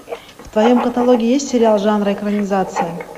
в твоем каталоге есть сериал жанра экранизация